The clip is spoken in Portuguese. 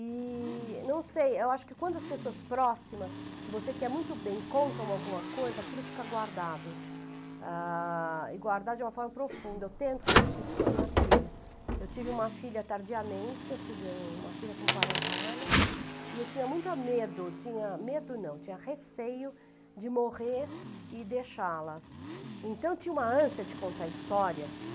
e não sei, eu acho que quando as pessoas próximas que você quer muito bem contam alguma coisa, aquilo fica guardado a, e guardado de uma forma profunda, eu tento repetir isso com a minha filha eu tive uma filha tardiamente, eu tive uma filha com quarenta anos e eu tinha muito medo, medo não, tinha receio de morrer e deixá-la então eu tinha uma ânsia de contar histórias